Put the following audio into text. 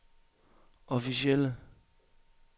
officielle